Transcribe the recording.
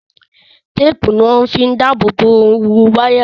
Téèpù ni wọ́n fi ń dáàbò bo ooru wáyà